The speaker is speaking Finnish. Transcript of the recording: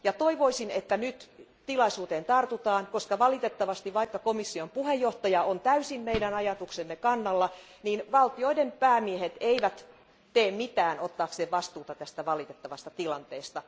Toivoisin, että nyt tilaisuuteen tartutaan, koska vaikka komission puheenjohtaja on täysin meidän ajatuksemme kannalla, valtioiden päämiehet eivät valitettavasti tee mitään ottaakseen vastuuta tästä valitettavasta tilanteesta.